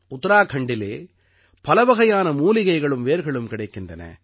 உத்தராக்கண்டிலே பல வகையான மூலிகைகளும் வேர்களும் கிடைக்கின்றன